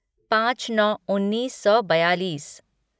पाँच नौ उन्नीस सौ बयालीस